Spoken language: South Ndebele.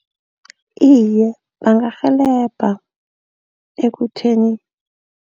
Iye bangarhelebheka ekutheni.